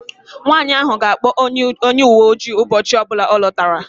Nwanyị ahụ ga-akpọ onye uwe ojii ụbọchị ọ bụla ọ lọtara